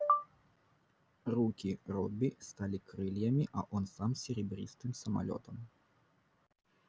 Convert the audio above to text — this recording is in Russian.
руки робби стали крыльями а он сам серебристым самолётом